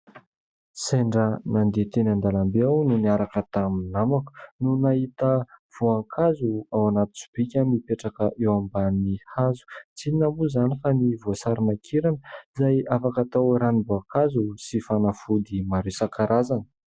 Sendra nandeha teny an-dalamby aho no niaraka tamin'ny namako no nahita voankazo ao anaty sobika mipetraka eo ambany hazo. Tsy inona moa izany fa ny voasary makirana izay afaka tao ranom-boankazo sy fanafody maro isan-karazany.